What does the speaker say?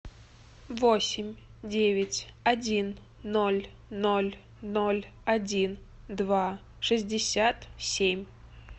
восемь девять один ноль ноль ноль один два шестьдесят семь